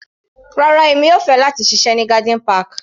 Rárá, èmi yóò fẹ́ láti ṣiṣẹ́ ní garden park.